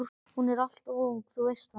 Hún er alltof ung, þú veist það.